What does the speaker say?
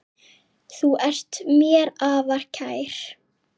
Þú ert mér afar kær.